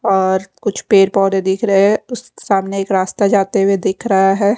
और कुछ पेड़ पौधे दिख रहे हैं उस सामने एक रास्ता जाते हुए दिख रहा है।